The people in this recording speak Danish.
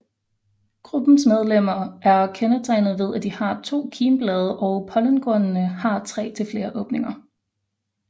Gruppens medlemmer er kendetegnet ved at de har to kimblade og pollenkornene har tre til flere åbninger